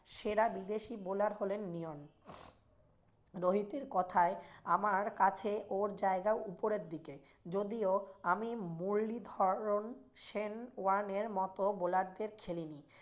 সেরা বিদেশি bowler হলেন লিওন। রোহিতের কোথায় আমার কাছে ওর জায়গা উপরের দিকে যদিও আমি মুরলি ধবনের, সেন ওয়ার্নের মতো bowle দের খেলিনি।